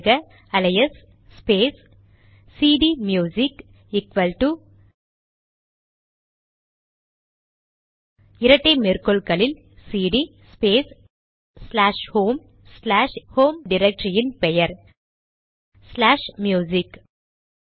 உள்ளிடுக alias space CD music equal to இரட்டை மேற்கோள்களில் CD space slash home slash home டிரக்டரியின் பெயர் ச்லாஷ் ம்யூசிக்